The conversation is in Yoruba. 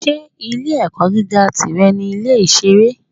Ṣé ilé-ẹ̀kọ́ gíga tìrẹ ní Ilé-ìṣeré?